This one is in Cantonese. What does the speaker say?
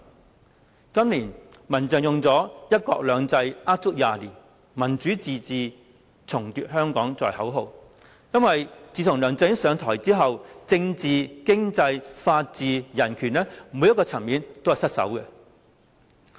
民間人權陣線今年以"一國兩制呃足廿年；民主自治重奪香港"作為口號，因為自從梁振英上台之後，政治、經濟、法治、人權每個層面都失守。